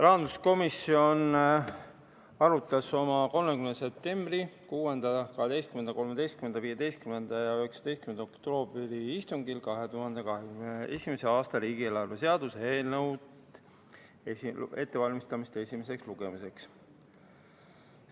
Rahanduskomisjon arutas oma 30. septembri, 6., 12., 13., 15. ja 19. oktoobri istungil 2021. aasta riigieelarve seaduse eelnõu ettevalmistamist esimeseks lugemiseks.